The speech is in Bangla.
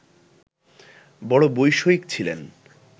বড়ো বৈষয়িক ছিলেন